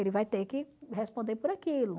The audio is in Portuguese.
Ele vai ter que responder por aquilo.